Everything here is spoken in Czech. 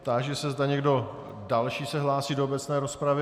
Táži se, zda někdo další se hlásí do obecné rozpravy.